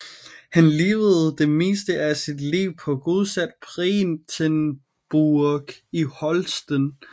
Han levede det meste af sit liv på godset Breitenburg i Holsten